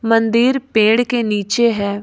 मंदिर पेड़ के नीचे है।